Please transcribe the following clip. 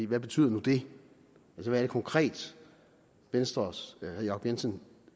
hvad betyder nu det hvad er det konkret venstres herre jacob jensen